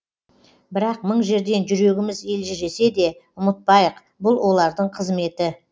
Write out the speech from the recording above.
бірақ мың жерден жүрегіміз елжіресе де ұмытпайық бұл олардың қызметі